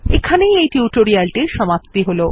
এখানেই এই টিউটোরিয়ালটির সমাপ্তি হল